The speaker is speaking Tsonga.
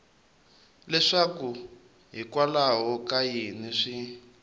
leswaku hikwalaho ka yini swi